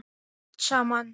Eftir allt saman.